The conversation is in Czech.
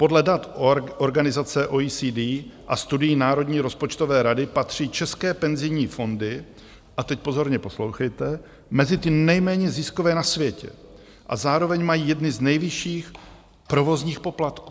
Podle dat organizace OECD a studií Národní rozpočtové rady patří české penzijní fondy, a teď pozorně poslouchejte, mezi ty nejméně ziskové na světě a zároveň mají jedny z nejvyšších provozních poplatků.